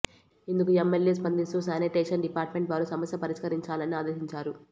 ఇందుకు ఎమ్మెల్యే స్పందిస్తూ sanitation department వారు సమస్య పరిష్కరించాలని ఆదేశించారు